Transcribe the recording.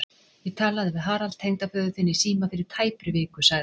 Ég talaði við Harald tengdaföður þinn í síma fyrir tæpri viku sagði